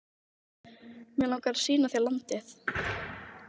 Mig langar að sýna þér landið